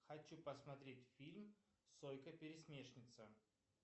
хочу посмотреть фильм сойка пересмешница